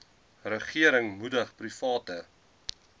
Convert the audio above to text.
regering moedig private